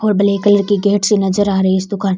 और black colour की gate सी नजर आ रही इस दुकान --